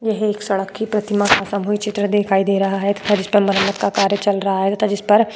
यह एक सड़क की प्रतिमा का सामूहिक चित्र दिखाई दे रहा है तथा जिस पर मरम्मत का कार्य चल रहा है तथा जिस पर --